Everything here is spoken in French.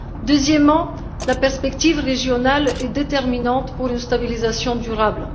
Deuxièmement, la perspective régionale est déterminante pour une stabilisation durable.